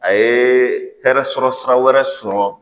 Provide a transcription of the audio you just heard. A ye tari sɔrɔ sira wɛrɛ sɔrɔ